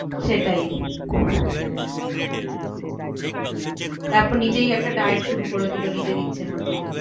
সেটাই তারপর নিজেই একটা diet শুরু করে দিলো নিজের ইচ্ছে মতো।